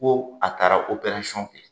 Ko a taara kɛ